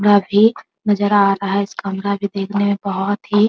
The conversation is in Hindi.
कमरा भी नजर आ रहा है इस कमरा भी देखने में बहुत ही --